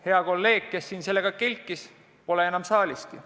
Hea kolleeg, kes siin sellega kelkis, pole enam saaliski.